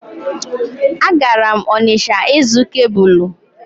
A gara m Onịsha ịzụ kebụlụ